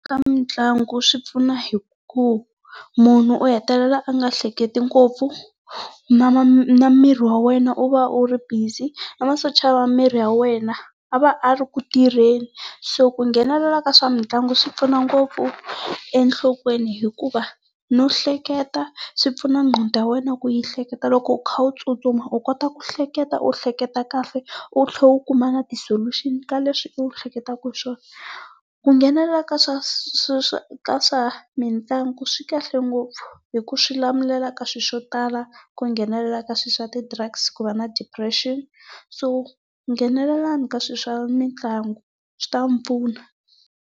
Ka mitlangu swi pfuna hi ku munhu u hetelela a nga hleketi ngopfu, na na miri wa wena wu va wu ri busy, na masocha ya miri ya wena a va a ri ku tirheni so ku nghenelela ka swa mitlangu swi pfuna ngopfu enhlokweni hikuva no hleketa swipfuna nqondo ya wena ku yi hleketa loko u kha u tsutsuma u kota ku hleketa u hleketa kahle, u tlhela u kuma na ti-solution ka leswi u hleketaka hi swona. Ku nghenelela ka swa ka swa mitlangu swi kahle ngopfu hi ku swi lamulela ka swilo swo tala, ku nghenelela ka swilo swa ti drugs, ku va na depression. So, nghenelelani ka swilo swa mitlangu swi ta mi pfuna.